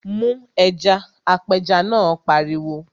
Mu ẹja! Apẹja náà pariwo.